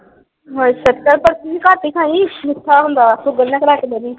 ਬਰਫ਼ੀ ਘੱਟ ਹੀ ਖਾਈ। ਮਿੱਠਾ ਹੁੰਦਾ ਵਾ ਸ਼ੂਗਰ ਨਾ ਕਰਾ ਕੇ ਬਹਿ ਜਾਈ।